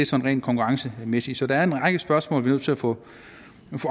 så rent konkurrencemæssigt så der er en række spørgsmål nødt til at få